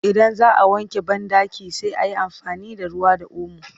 Idan za a wanke banɗaki sai an yi amfani da ruwa da omo